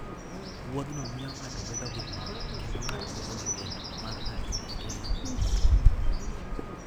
Wuodhno miyo ng'ato bedo gi mor, kendo ng'ato bedo gi geno mar dak e ngima mokuwe.